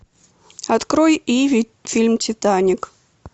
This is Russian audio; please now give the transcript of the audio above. открой иви фильм титаник